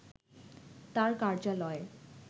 তার কার্যালয়ে